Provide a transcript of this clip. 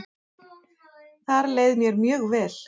Þar leið mér mjög vel.